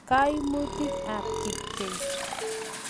Kaimutik ap kipkei.